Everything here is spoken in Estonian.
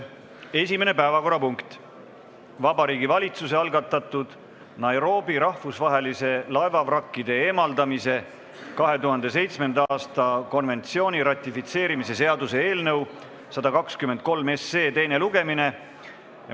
Esimene päevakorrapunkt on Vabariigi Valitsuse algatatud Nairobi rahvusvahelise laevavrakkide eemaldamise 2007. aasta konventsiooni ratifitseerimise seaduse eelnõu 123 teine lugemine.